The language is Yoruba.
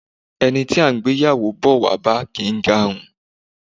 Ẹni a ń gbé ìyàwó bọ̀ wá bá kì í garun